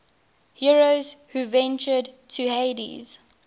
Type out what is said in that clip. heroes who ventured to hades